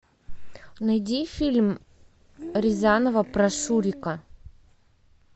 найди фильм рязанова про шурика